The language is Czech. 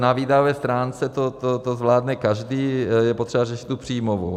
Na výdajové stránce to zvládne každý, je potřeba řešit tu příjmovou.